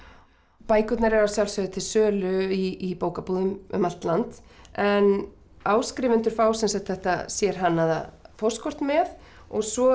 bækurnar eru að sjálfsögðu til sölu í bókabúðum um allt land en áskrifendur fá sem sagt þetta sérhannaða póstkort með og svo